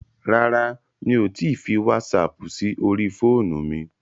Rárá, mi ò tíì fi wásaapù sí orí fóònù mi.